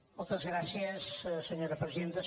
moltes gràcies senyora presidenta